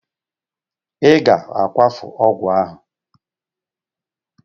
I ga-akwafu ọgwụ ahụ!